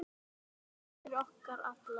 Já, hún er okkar allra.